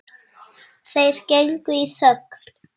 Þeir gengu í þögn.